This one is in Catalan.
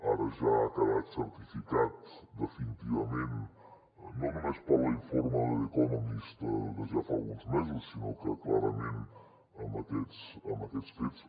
ara ja ha quedat certificat definitivament no només per l’informe de the economist de ja fa alguns mesos sinó que clarament amb aquests fets